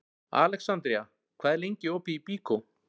Alexandría, hvað er lengi opið í Byko?